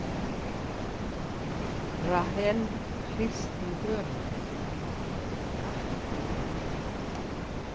Rahel hristi höfuðið.